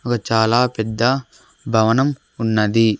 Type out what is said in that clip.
ఒక చాలా పెద్ద భవనం ఉన్నది.